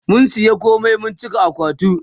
mun saya komai mun cika akwatin